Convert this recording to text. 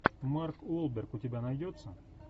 марк уолберг у тебя найдется